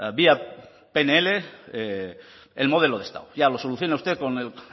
vía pnl el modelo de estado ya lo soluciona usted con el